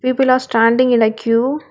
People are standing in a queue.